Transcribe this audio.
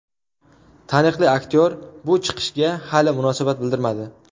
Taniqli aktyor bu chiqishga hali munosabat bildirmadi.